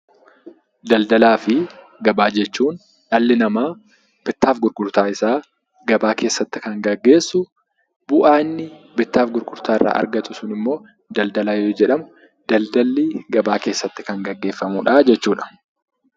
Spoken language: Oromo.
Daldalaa fi gabaa jechuun dhalli namaa bittaa fi gurgurtaa isaa gabaa keessatti kan gaggeessu bu'aa inni bittaa fi gurgurtaa irraa argatu immoo daldalaa yoo jedhamu, daldalli gabaa keessatti kan gaggeeffamu jechuudha.